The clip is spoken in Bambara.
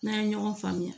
N'an ye ɲɔgɔn faamuya